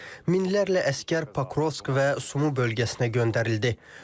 Minlərlə əsgər Pakrovsk və Sumu bölgəsinə göndərildi.